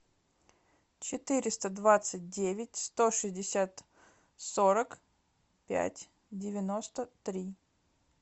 четыреста двадцать девять сто шестьдесят сорок пять девяносто три